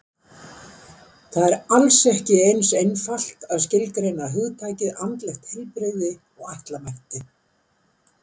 Það er alls ekki eins einfalt að skilgreina hugtakið andlegt heilbrigði og ætla mætti.